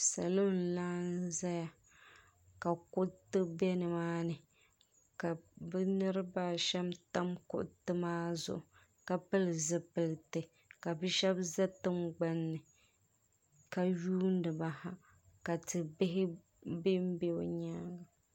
salo n-laɣim zaya ka kuriti be ni maa ni ka bɛ niriba a shɛm tam kuriti maa zuɣu ka pili zupiliti ka bɛ shɛba za tiŋgbani ni ka yuuni ba ha ka ti' bihi be be bɛ nyaaga.